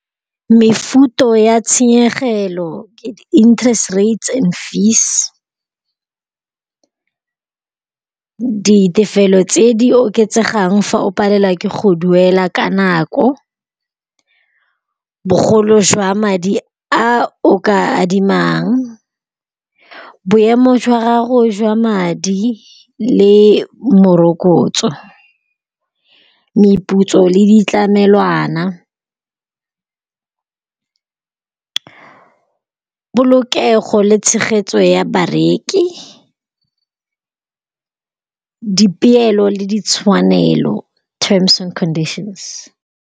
Mefuta ya tshenyegelo ke interest rates and fees, ditefelelo tse di oketsegang fa o palelwa ke go duela ka nako, bogolo jwa madi a o ka adimang, boemo jwa gago jwa madi le morokotso. Meputso le ditlamelwana. Polokego le tshegetso ya bareki. Dipeelo le ditshwanelo, terms and conditions.